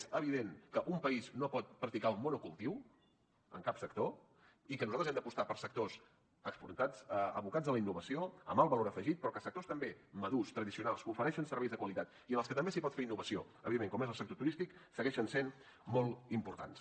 és evident que un país no pot practicar el monocultiu en cap sector i que nosaltres hem d’apostar per sectors abocats a la innovació amb alt valor afegit però que sectors també madurs tradicionals que ofereixen serveis de qualitat i en els que també s’hi pot fer innovació evidentment com és el sector turístic segueixen sent molt importants